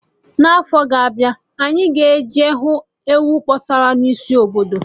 Na afọ na-abịa, anyị ga eje hụ enyi akpọsara na isi obodo